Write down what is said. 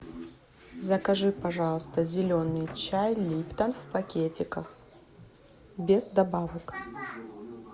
закажи пожалуйста зеленый чай липтон в пакетиках без добавок